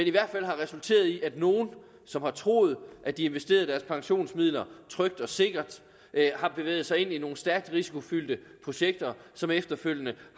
i hvert fald resulteret i at nogle som har troet at de investerede deres pensionsmidler trygt og sikkert har bevæget sig ind i nogle stærkt risikofyldte projekter som efterfølgende